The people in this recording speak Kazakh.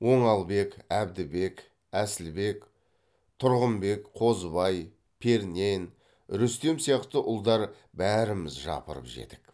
оңалбек әбдібек әсілбек тұрғынбек қозыбай пернен рүстем сияқты ұлдар бәріміз жапырып жедік